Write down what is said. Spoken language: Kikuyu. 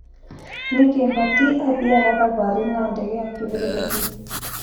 Nĩkĩĩ Batĩ athiaga thabarĩ na ndege ya kĩbĩrĩrĩki.